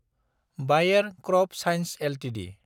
बायेर CropScience Ltd